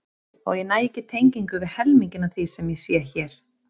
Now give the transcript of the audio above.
Og ég næ ekki tengingu við helminginn af því sem ég sé hér.